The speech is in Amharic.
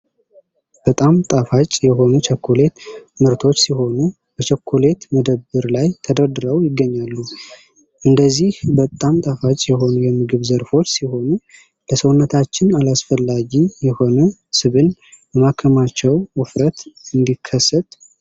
በጣም ጣፋጭ የሆኑ ቸኮሌት ምርቶች ሲሆኑ በቸኮሌት መደበር ላይ ተደርድረው ይገኛሉ እንደዚህ በጣም ጣፋጭ የሆኑ የምግብ ዘሮች ሲሆኑ ለሰውነታችን አላስፈላጊ የሆነ ስብን በማከማቸው ውፍረት እንዲከሰት ያደርጋሉ።